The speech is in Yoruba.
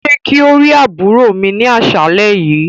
Ṣe kí o ri àbúrò mi ni aṣalẹ yìí.